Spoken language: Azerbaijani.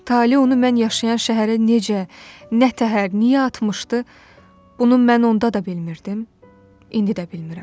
Tale onu mən yaşayan şəhərə necə, nə təhər, niyə atmışdı, bunu mən onda da bilmirdim, indi də bilmirəm.